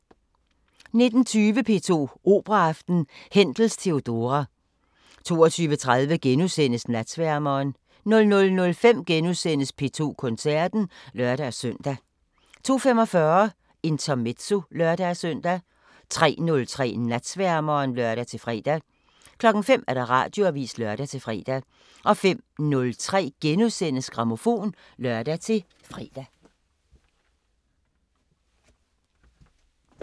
19:20: P2 Operaaften: Händels Theodora 22:30: Natsværmeren * 00:05: P2 Koncerten *(lør-søn) 02:45: Intermezzo (lør-søn) 03:03: Natsværmeren (lør-fre) 05:00: Radioavisen (lør-fre) 05:03: Grammofon *(lør-fre)